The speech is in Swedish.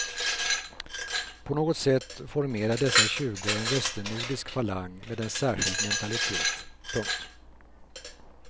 På något sätt formerar dessa tjugo en västnordisk falang med en särskild mentalitet. punkt